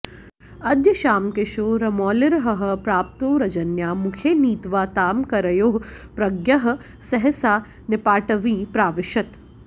अद्य श्यामकिशोरमौलिरहह प्राप्तो रजन्या मुखे नीत्वा तां करयोः प्रगृह्य सहसा नीपाटवीं प्राविशत्